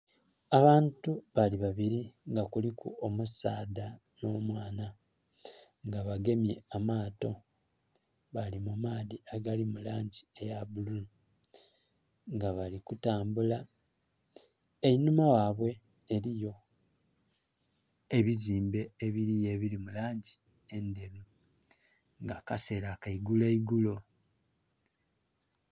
Abantu bali babili nga kuliku omusaadha nh'omwana nga bagemye amaato bali mu maadhi agali mu langi eya bbululu, nga bali kutambula. Enhuma ghabwe eliyo ebizimbe ebiliyo ebili mu langi endheru nga kaseela ka iguloigulo.